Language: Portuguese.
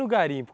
garimpo?